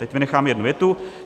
Teď vynechám jednu větu.